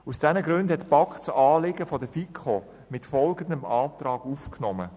Aus diesen Gründen hat die BaK das Anliegen der FiKo mit folgendem Antrag aufgenommen: